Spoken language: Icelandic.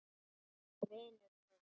En vinur minn.